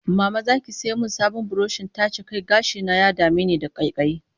Mama za ki sai min sabon burushin taje kai? Gashina ya dame ni da ƙaiƙayi